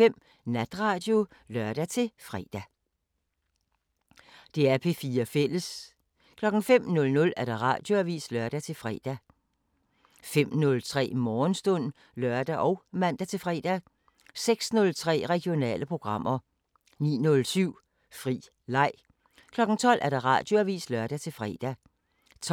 16:04: Grillen på P4 18:03: Radiosporten (lør-søn) 18:05: P4 Aften (lør-søn) 21:03: Nu og dansk – deruda' (lør-fre) 22:03: P4 Aften (lør-fre) 00:05: P4 Natradio (lør-fre)